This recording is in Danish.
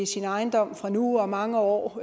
sin ejendom fra nu og mange år